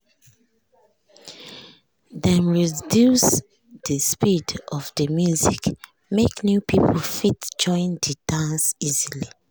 dem reduce de speed of de music make new people fit join de dance easily.